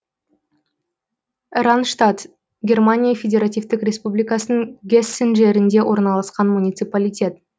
ранштадт германия федеративтік республикасының гессен жерінде орналасқан муниципалитет